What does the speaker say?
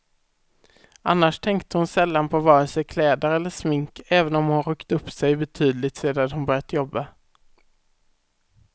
Annars tänkte hon sällan på vare sig kläder eller smink, även om hon ryckt upp sig betydligt sedan hon börjat jobba.